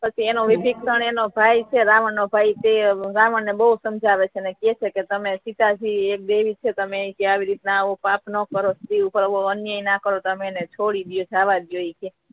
પછી એનો વિભીષણ એનો ભાઈ છે રાવણ નો ભાઈ છે એ રાવણ ને બહુ સમજાવે છે અને કહે છે કે તમે સીતા જી એક દેવી છે તમેઆવી રીત ના પાપ ના કરો આવો અન્યાય ન કરો તમે એને છોડી દો જાવા દિયો